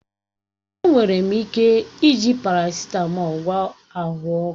Enwere ike iji parasịtamọl gwọọ ahụ ọkụ